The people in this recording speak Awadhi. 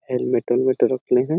हेलमेट उलमेट रखे है।